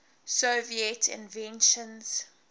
soviet inventions